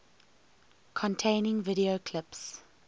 containing video clips